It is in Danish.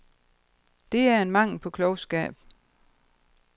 Det er en mangel på klogskab.